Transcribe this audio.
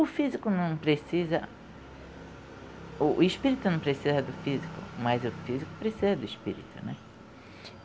O físico não precisa... o espírito não precisa do físico, mas o físico precisa do espírito, né?